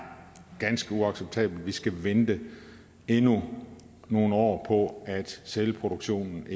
ganske uacceptabelt at vi skal vente endnu nogle år på at sælproduktionen